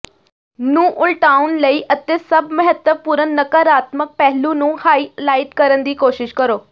ਨੂੰ ਉਲਟਾਉਣ ਲਈ ਅਤੇ ਸਭ ਮਹੱਤਵਪੂਰਨ ਨਕਾਰਾਤਮਕ ਪਹਿਲੂ ਨੂੰ ਹਾਈਲਾਈਟ ਕਰਨ ਦੀ ਕੋਸ਼ਿਸ਼ ਕਰੋ